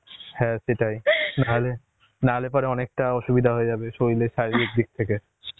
হ্যাঁ সেটাই না হলে না হলে পরে অনেকটা অসুবিধা হয়ে যাবে। শরীরের শারীরিক দিক থেকে